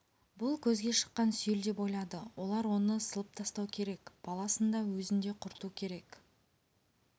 бұл көзге шыққан сүйел деп ойлады олар оны сылып тастау керек баласын да өзін де құрту керек